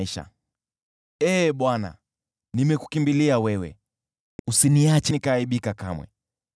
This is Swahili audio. Ee Bwana , nimekukimbilia wewe, usiache nikaaibika kamwe.